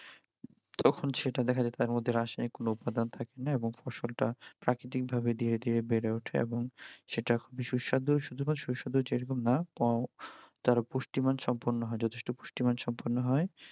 তখন সেটা দেখা যায় যে তার মধ্যে রাসায়নিক কোনো উৎপাদন থাকেনা এবং ফসলটা প্রাকৃতিকভাবে ধীরে ধীরে বেড়ে ওঠে এবং সেটা বেশ সুস্বাদু শুধুমাত্র সুস্বাদু যেরকম না পং তারপর পুষ্টি মান সম্পূর্ণ হয় যথেষ্ট পুষ্টিমান সম্পন্ন হয়